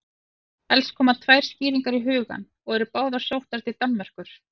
Helst koma tvær skýringar í hugann og eru báðar sóttar til Danmerkur.